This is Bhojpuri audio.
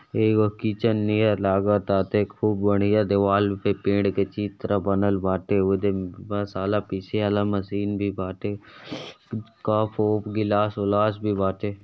एगो किचन नियन लागताटे। खूब बढ़िया देवाल पे पेड़ के चित्र बनल बाटे। उधर मसाला पीसे वाला मशीन भी बाटे। कप ओप गिलास ओलास भी बाटे।